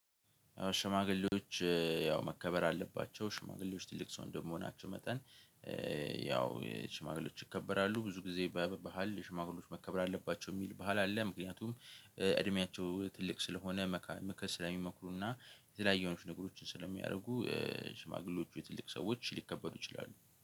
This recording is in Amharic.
ሽማግሌዎች ያው መከበር አለባቸው ሽማግሌዎች ትልቅ ሰው እንደምሆናቸው መጠን። ያው ሽማግሌዎች ይከበራሉ ብዙ ጊዜ በባህል ሽማግሌዎች መከብር አለባቸው የሚል ባህል አለ። ምክንያቱም እድሜያቸው ትልቅ ስለሆነ መካ ምክር ስለሚመክሩና የተለያዩ አይነት ነገሮችን ስለሚያደርጉ። ሽማግሌዎች ወይ ትልቅ ሰዎች ሊከበሩ ይችላሉ